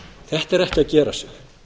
þetta er ekki að gerast